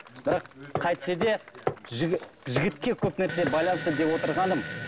бірақ қайтсе де жігітке көп нәрсе байланысты деп отырғаным